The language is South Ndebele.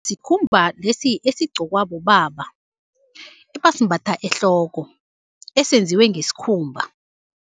Sikhumba lesi esigqokwa bobaba ebasimbatha ehloko esenziwe ngesikhumba.